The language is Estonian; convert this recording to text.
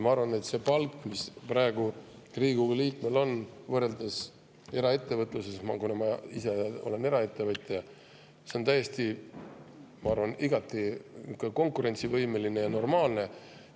Ma arvan, et see palk, mis praegu Riigikogu liikmel on, on võrreldes eraettevõtlusega – ma ise olen eraettevõtja – igati konkurentsivõimeline ja normaalne.